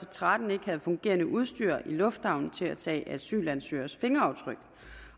og tretten ikke havde fungerende udstyr i lufthavnen til at tage asylansøgeres fingeraftryk